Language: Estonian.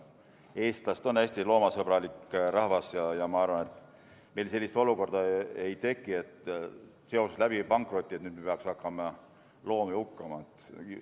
Eestlased on hästi loomasõbralik rahvas ja ma arvan, et meil sellist olukorda ei teki, et pankrotiga seoses me peaksime hakkama loomi hukkama.